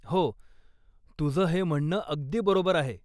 हो, तुझं हे म्हणणं अगदी बरोबर आहे.